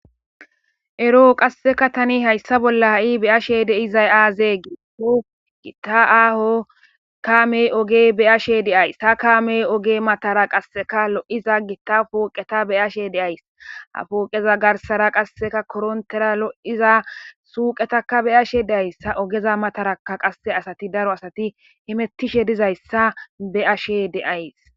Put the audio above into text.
eroo qasseka tani hayssa bolla ha7i beyashe deizay aazee giiho gitta aaho kaamey ogey beyashe deays ta kaamey oge matara qasseka lo7iza gitta pooqeta beyashe deays hafooqeza garsara qasseka korontera lo7iza suuqetaka beyashe deayssa ogeza mataraka qasse asati daro asati himettishe dizayssa be7ashe deays